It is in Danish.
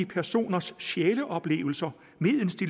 personers sjæleoplevelser medens de